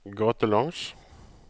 gatelangs